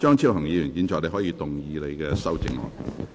張超雄議員，你可以動議你的修正案。